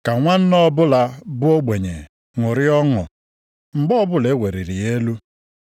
Ka nwanna ọbụla bụ ogbenye ṅụrịa ọṅụ, mgbe ọbụla e weliri ya elu.